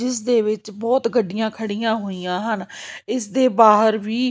ਇਸ ਦੇ ਵਿੱਚ ਬਹੁਤ ਗੱਡੀਆਂ ਖੜੀਆਂ ਹੋਈਆਂ ਹਨ ਇਸ ਦੇ ਬਾਹਰ ਵੀ।